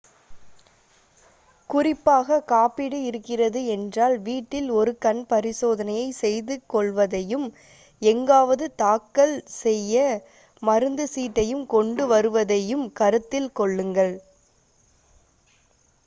குறிப்பாக காப்பீடு இருக்கிறது என்றால் வீட்டில் ஒரு கண் பரிசோதனையை செய்துக் கொள்வதையும் எங்காவது தாக்கல் செய்ய மருந்து சீட்டையும் கொண்டு வருவதையும் கருத்தில் கொள்ளுங்கள்